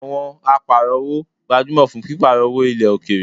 Awon aparo-owo gbajumo fun piparo owo ile okeere